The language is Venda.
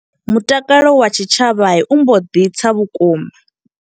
Mutakalo wa tshitshavha u mbo ḓi tsa vhukuma.